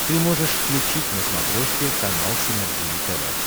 ты можешь включить на смотрешке канал синергия тв